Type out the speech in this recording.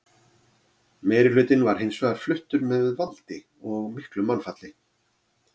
Meirihlutinn var hins vegar fluttur með valdi og miklu mannfalli.